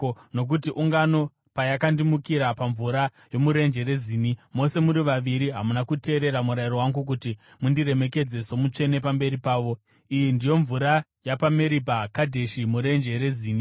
nokuti ungano payakandimukira pamvura yomuRenje reZini, mose muri vaviri hamuna kuteerera murayiro wangu kuti mundiremekedze somutsvene pamberi pavo.” (Iyi ndiyo mvura yapaMeribha Kadheshi, muRenje reZini.)